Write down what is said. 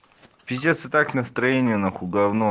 пиздец и так настроение нахуй говно